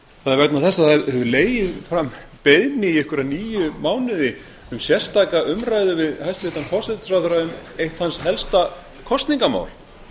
það er vegna þess að það hefur legið frammi beiðni í einhverja níu mánuði um sérstaka umræðu við hæstvirtan forsætisráðherra um eitt hans helsta kosningamál